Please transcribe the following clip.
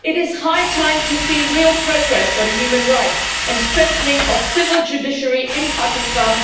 It is high time to see real progress on human rights and the strengthening of the civil judiciary in Pakistan.